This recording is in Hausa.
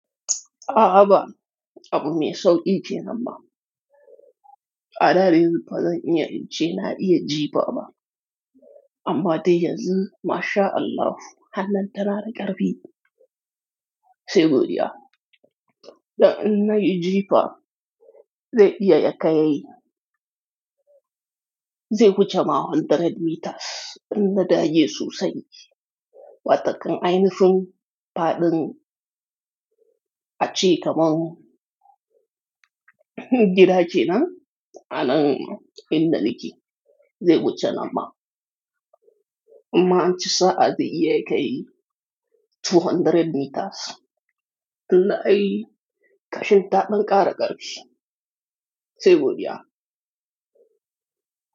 A'a ba abu mai sauƙi kenan ba. A daren ba zan iya ce na iya jefa ba, amma dai yanzu mashallah hallan ta na da ƙarfi. Sai godiya. Da in na yi jefa, dai iya ya kai zai wuce mawon mita ɗari in na da ye sosai. Wataƙan ainushin fadin a ce kaman gida ce nan, anan in da liki zai wuce nan ma. Inma an ci sa'ad iya ya kai mita ɗari biyu, in na yi ƙashin taɓin ƙara ƙarfi. Sai godiya.